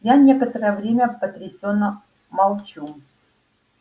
я некоторое время потрясённо молчу